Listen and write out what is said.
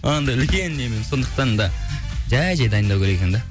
анандай үлкен немен сондықтан да жай жай дайындалу керек екен де